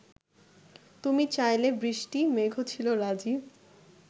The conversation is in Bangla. তুমি চাইলে বৃষ্টি মেঘও ছিল রাজী